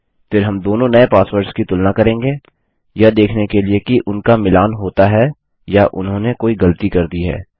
फिर हम दोनों नये पासवर्डस की तुलना करेंगे यह देखने के लिए कि उनका मिलान होता है या उन्होंने कोई गलती कर दी है